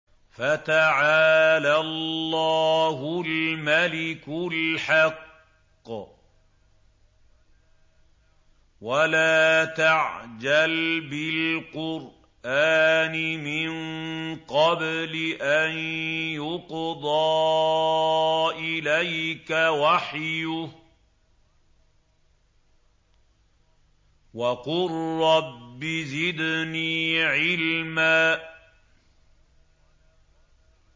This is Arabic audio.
فَتَعَالَى اللَّهُ الْمَلِكُ الْحَقُّ ۗ وَلَا تَعْجَلْ بِالْقُرْآنِ مِن قَبْلِ أَن يُقْضَىٰ إِلَيْكَ وَحْيُهُ ۖ وَقُل رَّبِّ زِدْنِي عِلْمًا